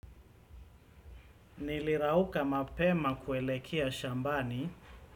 Nilirauka mapema kuelekea shambani.